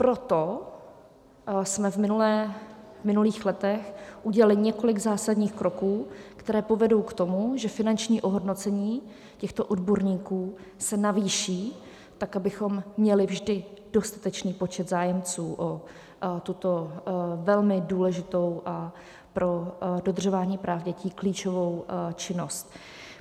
Proto jsme v minulých letech udělali několik zásadních kroků, které povedou k tomu, že finanční ohodnocení těchto odborníků se navýší tak, abychom měli vždy dostatečný počet zájemců o tuto velmi důležitou a pro dodržování práv dětí klíčovou činnost.